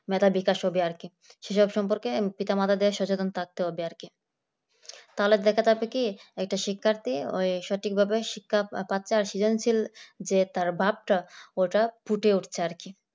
মেধার বিকাশ হবে আর কি সেসব সম্পর্কে পিতা-মাতাদের সচেতন থাকতে হবে আর কি তাহলে দেখা যাবে কি একটা শিক্ষার্থী সঠিকভাবে শিক্ষা বাচ্চার সৃজনশীল যে তার ভাবটা ওটা ফুটে উঠছে আর কি